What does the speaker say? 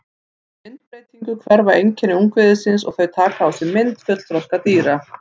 Við myndbreytingu hverfa einkenni ungviðisins og þau taka á sig mynd fullþroska dýra.